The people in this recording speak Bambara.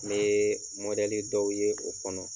Ne mɔdɛli dɔw ye o kɔnɔ.